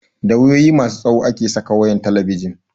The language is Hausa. Da wayoyi masu tsawo ake saka wayan talabijin